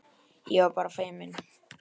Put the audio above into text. Ég var bara feimin!